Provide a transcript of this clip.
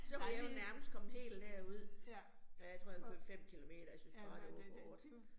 Så var jeg jo nærmest kommet helt derud. Og jeg tror, jeg havde kørt 5 kilometer, jeg syntes bare det var for hårdt